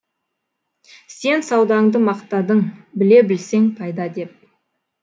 сен саудаңды мақтадың біле білсең пайда деп